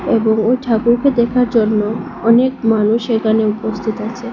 এবং ওই ঠাকুরকে দেখার জন্য অনেক মানুষ এখানে উপস্থিত আছে।